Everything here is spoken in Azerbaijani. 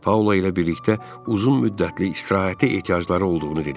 Paula ilə birlikdə uzun müddətli istirahətə ehtiyacları olduğunu dedim.